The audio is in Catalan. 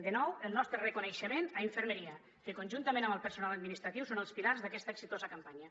de nou el nostre reconeixement a infermeria que conjuntament amb el personal administratiu són els pilars d’aquesta exitosa campanya